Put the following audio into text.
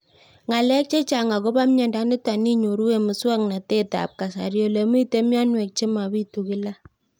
Ng'alek chechang' akopo miondo nitok inyoru eng' muswog'natet ab kasari ole mito mianwek che mapitu kila